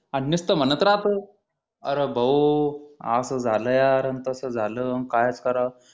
आणि नुसतं म्हणत राहतय अरे भाऊ असं झालं यार आणि तसं झालं आणि काय करावं